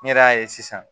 Ne yɛrɛ y'a ye sisan